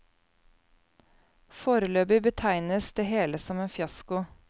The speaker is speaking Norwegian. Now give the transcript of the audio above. Foreløpig betegnes det hele som en fiasko.